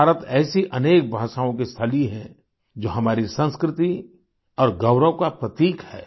भारत ऐसी अनेक भाषाओँ की स्थली है जो हमारी संस्कृति और गौरव का प्रतीक है